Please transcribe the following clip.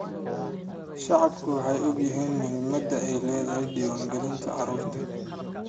Shacabku way ogyihiin muhiimadda ay leedahay diiwaan gelinta carruurta.